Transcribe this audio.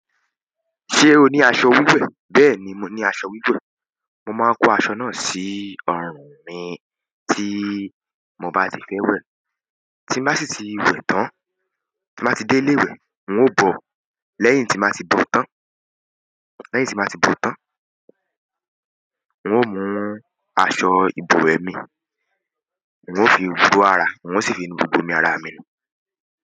Ṣé o ní aṣọ wíwẹ̀? Bẹ́ẹ̀ni, mo ní aṣọ wíwẹ̀. Mo máa kó aṣọ náà sí ọ̀run mi tí mo bá ti fẹ́ wẹ̀. Tí mo bá sì ti wẹ̀ tán, tí mo bá ti dé ilé ìwẹ̀, n ó bọ̀. Lẹ́yìn tí mo bá ti bò tán, lẹ́yìn tí mo bá ti bò tán, n ó mú aṣọ ìbọ̀wẹ̀ mi, n ó fi búra, n ó sì fi nu gbogbo omi ara mi nù.